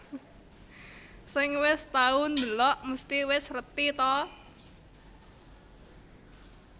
Sing wis tau ndelok mesti wis reti ta